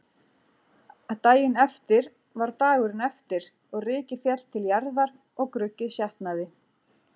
Daginn eftir var dagurinn eftir og rykið féll til jarðar og gruggið sjatnaði.